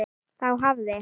Þá hafði